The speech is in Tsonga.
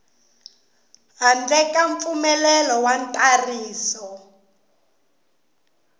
handle ka mpfumelelo wa ntsariso